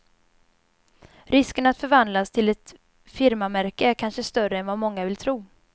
Risken att förvandlas till ett firmamärke är kanske större än vad många vill tro.